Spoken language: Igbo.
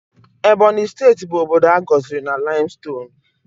Ebonyi steeti bụ obodo a gọziri na laimstonuu